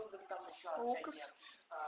лукас